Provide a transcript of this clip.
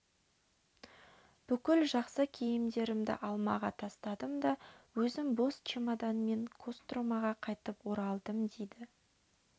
бүкіл жақсы киімдерімді алмаға тастадым да өзім бос чемоданмен костромаға қайтып оралдым дейді